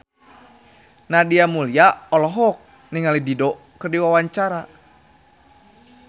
Nadia Mulya olohok ningali Dido keur diwawancara